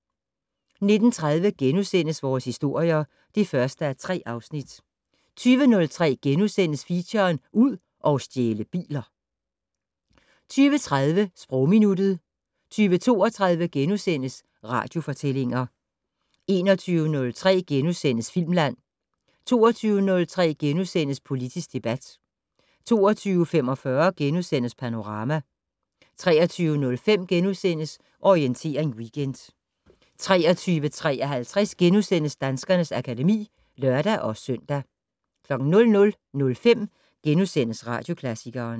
19:30: Vores historier (1:3)* 20:03: Feature: Ud og stjæle biler * 20:30: Sprogminuttet 20:32: Radiofortællinger * 21:03: Filmland * 22:03: Politisk debat * 22:45: Panorama * 23:05: Orientering Weekend * 23:53: Danskernes akademi *(lør-søn) 00:05: Radioklassikeren *